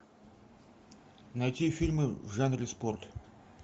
найти фильмы в жанре спорт